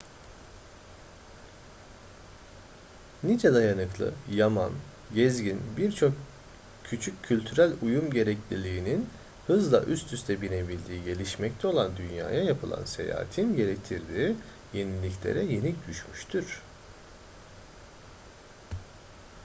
nice dayanıklı yaman gezgin birçok küçük kültürel uyum gerekliliğinin hızla üst üste binebildiği gelişmekte olan dünyaya yapılan seyahatin getirdiği yeniliklere yenik düşmüştür